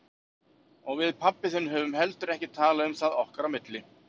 Og við pabbi þinn höfum heldur ekki talað um það okkar á milli.